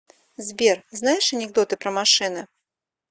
сбер знаешь анекдоты про машины